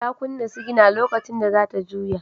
Ta kunna sigina lokacin da za ta juya.